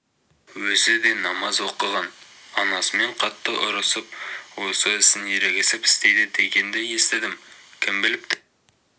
өзі де намаз оқыған анасымен қатты ұрысып осы ісін ерегесіп істейді дегенді естідім кім біліпті